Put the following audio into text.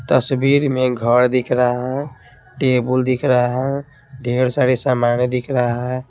तस्वीर में घर दिख रहा है टेबल दिख रहा है ढेर सारा सामान दिख रहा है।